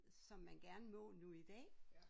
Som man gerne må nu i dag